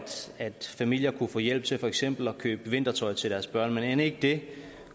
familier kunne få hjælp til for eksempel at købe vintertøj til deres børn men end ikke det